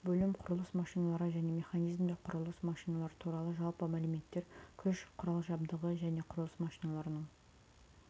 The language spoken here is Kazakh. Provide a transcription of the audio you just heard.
бөлім құрылыс машиналары және механизмдер құрылыс машиналары туралы жалпы мәліметтер күш құрал-жабдығы және құрылыс машиналарының